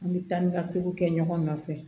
An bɛ taa ni ka seginw kɛ ɲɔgɔn nɔfɛ